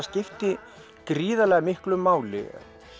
skipti gríðarlega miklu máli